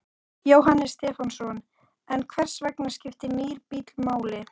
Jóhannes Stefánsson: En hvers vegna skiptir nýr bíll máli?